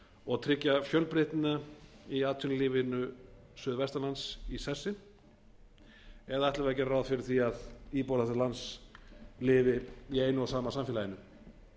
og tryggja fjölbreytnina í atvinnulífinu suðvestan lands í sessi eða ætlum við að gera ráð fyrir því að íbúar þessa lands lifi í einu og sama samfélaginu